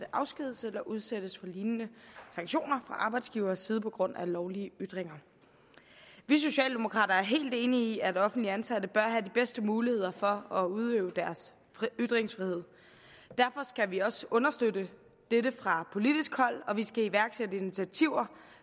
afskediges eller udsættes for lignende sanktioner fra arbejdsgivers side på grund af lovlige ytringer vi socialdemokrater er helt enige i at offentligt ansatte bør have de bedste muligheder for at udøve deres ytringsfrihed derfor skal vi også understøtte dette fra politisk hold og vi skal iværksætte initiativer